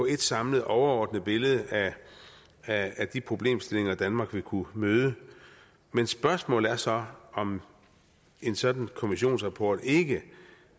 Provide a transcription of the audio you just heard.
et samlet overordnet billede af af de problemstillinger danmark vil kunne møde men spørgsmålet er så om en sådan kommissionsrapport ikke